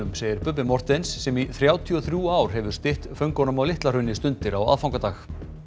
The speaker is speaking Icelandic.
segir Bubbi Morthens sem í þrjátíu og þrjú ár hefur stytt föngunum á Litla Hrauni stundir á aðfangadag